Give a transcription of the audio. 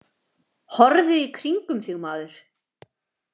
Horfðu í kringum þig, maður.